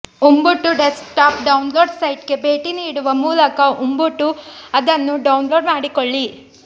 Ubuntu desktop download ಸೈಟ್ಗೆ ಭೇಟಿ ನೀಡುವ ಮೂಲಕ ಉಬುಂಟು ಅನ್ನು ಡೌನ್ಲೋಡ್ ಮಾಡಿಕೊಳ್ಳಿ